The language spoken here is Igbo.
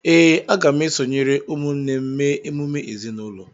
Ee, aga m esonyere ụmụnne m mee emume ezinụlọ